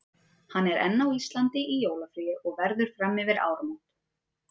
Hann er enn á Íslandi í jólafríi og verður fram yfir áramót.